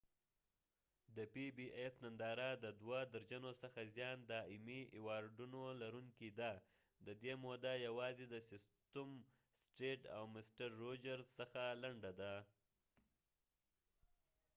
د پی بی ایس ننداره د دوه درجنو څخه زیان د ایمی ایوارډونو لرونکې ده ددې موده یوازې د سیسیم ستریټ او مسټر روجرز څخه لنډه ده